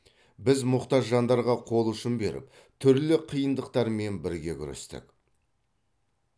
біз мұқтаж жандарға қол ұшын беріп түрлі қиындықтармен бірге күрестік